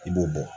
I b'o bɔ